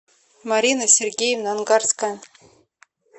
марина сергеевна ангарская